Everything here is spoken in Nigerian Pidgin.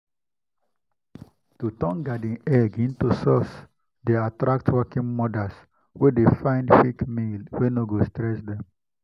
to turn garden egg into sauce dey attract working mothers wey dey find quick meal wey no go stress dem.